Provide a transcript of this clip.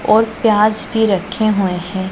और प्याज भी रखे हुए हैं।